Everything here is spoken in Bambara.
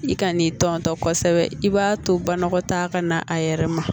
I kan'i tɔ kosɛbɛ i b'a to banakɔtaga ka na a yɛrɛ ma